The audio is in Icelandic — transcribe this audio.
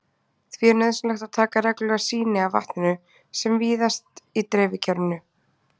Því er nauðsynlegt að taka reglulega sýni af vatninu sem víðast í dreifikerfinu.